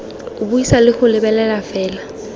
buisa le go lebelela fela